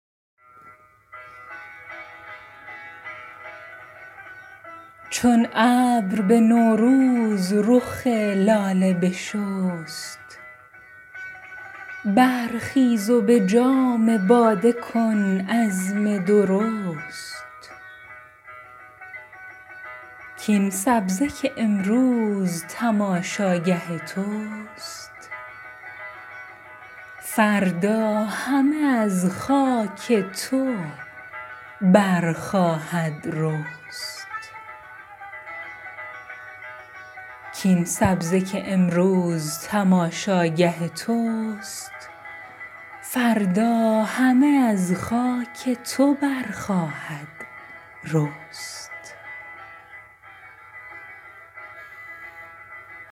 چون ابر به نوروز رخ لاله بشست برخیز و به جام باده کن عزم درست کاین سبزه که امروز تماشاگه توست فردا همه از خاک تو برخواهد رست